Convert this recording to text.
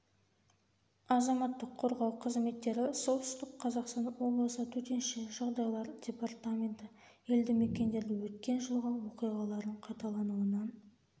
азаматтық қорғау қызметтері солтүстік қазақстан облысы төтенше жағдайлар департаменті елді мекендерді өткен жылғы оқиғалардың қайталануынан